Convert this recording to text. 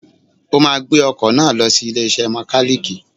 O máa gbé ọkọ̀ náà lọ sí ilé iṣẹ́ mọkálíìkì.